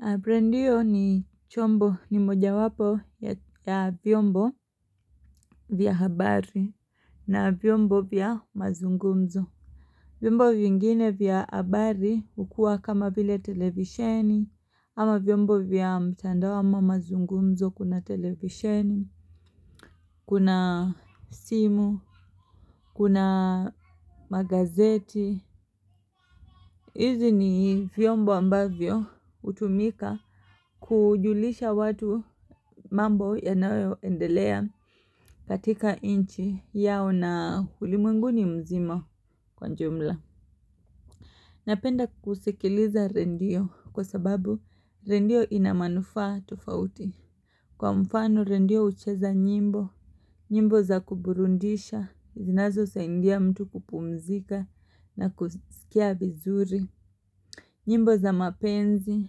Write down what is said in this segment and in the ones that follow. Aprendio ni chombo ni moja wapo ya vyombo. Vya habari na vyombo vya mazungumzo. Vyombo vyingine vya habari hukua kama vile televisheni ama vyombo vya mtandao ama mazungumzo kuna televisheni, Kuna simu, kuna magazeti. Hizi ni vyombo ambavyo hutumika kujulisha watu mambo yanayo endelea katika nchi yao na ulimwenguni mzima kwa jumla. Napenda kusikiliza redio kwa sababu redio inamanufaa tofauti. Kwa mfano redio hucheza nyimbo, nyimbo za kuburudisha, zinazo saidia mtu kupumzika na kusikia vizuri. Nyimbo za mapenzi,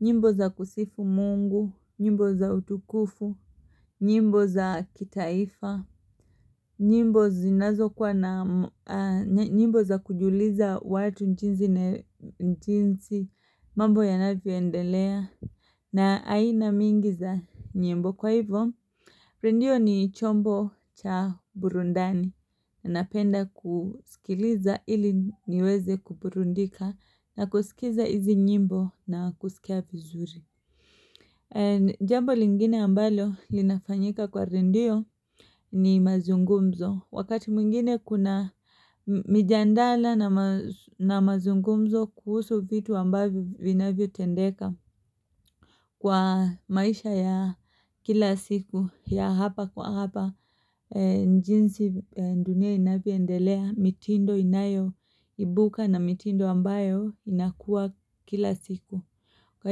nyimbo za kusifu Mungu, nyimbo za utukufu, nyimbo za kitaifa, nyimbo nyimbo za kujuliza watu jinsi jinsi mambo yanavyo endelea. Na aina mingi za nyimbo kwa hivyo, redio ni chombo cha burundani. Napenda kusikiliza ili niweze kuburudika na kusikiza hizi nyimbo na kusikia vizuri. Jambo lingine ambalo linafanyika kwa redio ni mazungumzo. Wakati mwingine kuna mijadala na mazungumzo kuhusu vitu ambavyo vinavyo tendeka. Kwa maisha ya kila siku ya hapa kwa hapa jinsi dunia inavyo endelea mitindo inayo ibuka na mitindo ambayo inakuwa kila siku. Kwa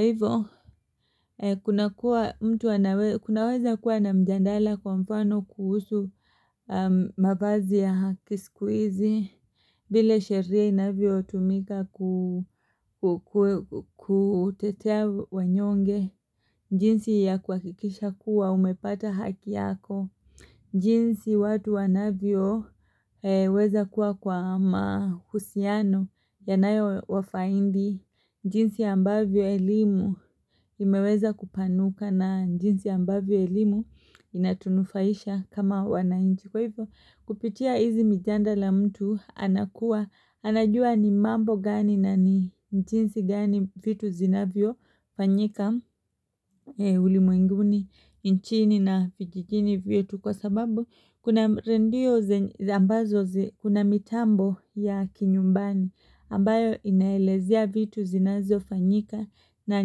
hivyo, kunakuwa mtu kunaweza kuwa na mjadala kwa mfano kuhusu mavazi ya haki sikuhizi vile sheria inavyo tumika ku kutetea wanyonge jinsi ya kuhakikisha kuwa umepata haki yako. Jinsi watu wanavyoweza kuwa kwa mahusiano yanayo wafaidi. Jinsi ambavyo elimu imeweza kupanuka na jinsi ambavyo elimu inatunufaisha kama wanainchi. Kwa hivyo kupitia hizi mijadala mtu anakuwa anajua ni mambo gani na ni jinsi gani vitu zinavyo fanyika. Ulimwenguni nchini na vijijini vyetu kwa sababu kuna redio ambazo kuna mitambo ya kinyumbani ambayo inaelezea vitu zinavyo fanyika na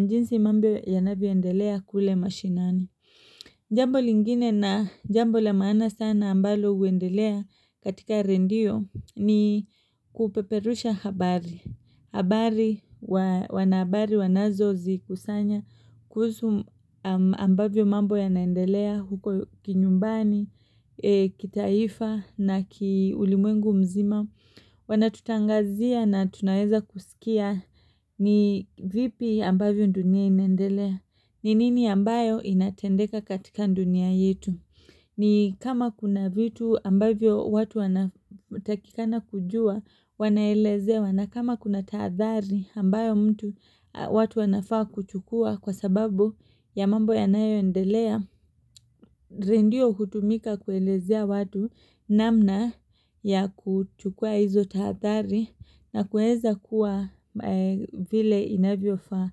jinsi mambo yanavyo endelea kule mashinani. Jambo lingine na jambo la maana sana ambalo huendelea katika redio ni kupeperusha habari. Habari wanahabari wanazo zikusanya kuhusu ambavyo mambo ya naendelea huko kinyumbani, kitaifa na ulimwengu mzima. Wanatutangazia na tunaweza kusikia ni vipi ambavyo dunia inaendelea. Ni nini ambayo inatendeka katika dunia yetu? Ni kama kuna vitu ambavyo watu wana takikana kujua wanaelezewa na kama kuna taadhari ambayo mtu watu wanafaa kuchukua kwa sababu ya mambo yanayo endelea. Redio hutumika kuelezea watu namna ya kuchukua hizo tahadhari na kuweza kuwa vile inavyo faa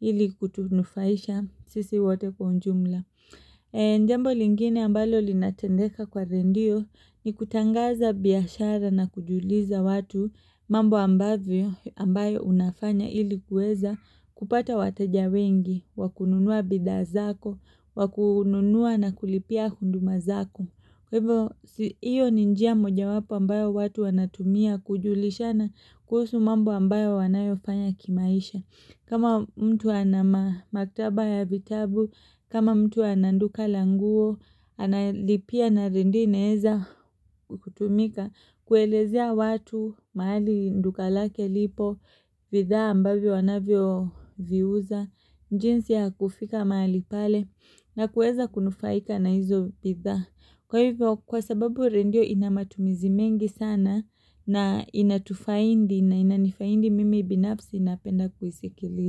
ili kutunufaisha sisi wato kwa unjumla. Njambo lingine ambalo linatendeka kwa redio ni kutangaza biashara na kujuliza watu mambo ambavyo ambayo unafanya ilikuweza kupata watajawengi, wakununua bidhaa zako, wakununua na kulipia hunduma zako. Hiyo ni njia moja wapo ambayo watu wanatumia kujulishana kuhusu mambo ambayo wanayofanya kimaisha. Kama mtu anamaktaba ya vitabu, kama mtu anaduka languo, analipia na redio inaweza kutumika, kuelezea watu, mahali duka lake lipo, bidhaa ambayo anavyo viuza, jinsi ya kufika mahali pale na kuweza kunufaika na hizo bidhaa, kwa hivyo. Kwa sababu redio inamatumizi mengi sana na inatufaidi na inanifaidi mimi binafsi napenda kuisikiliza.